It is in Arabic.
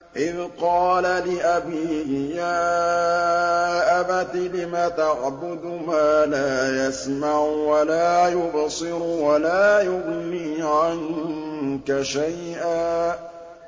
إِذْ قَالَ لِأَبِيهِ يَا أَبَتِ لِمَ تَعْبُدُ مَا لَا يَسْمَعُ وَلَا يُبْصِرُ وَلَا يُغْنِي عَنكَ شَيْئًا